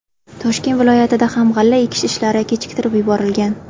Toshkent viloyatida ham g‘alla ekish ishlari kechiktirib yuborilgan.